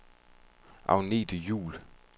Agnethe Juhl